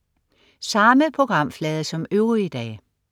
Samme programflade som øvrige dage